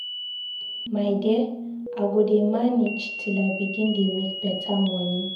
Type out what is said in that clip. My dear, I go dey manage till I begin dey make beta moni.